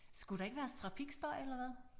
Skulle der ikke være trafikstøj eller hvad?